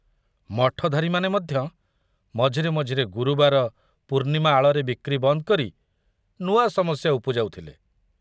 ମଠଧାରୀମାନେ ମଧ୍ୟ ମଝିରେ ମଝିରେ ଗୁରୁବାର, ପୂର୍ଣ୍ଣିମା ଆଳରେ ବିକ୍ରି ବନ୍ଦ କରି ନୂଆ ସମସ୍ୟା ଉପୁଜାଉଥିଲେ।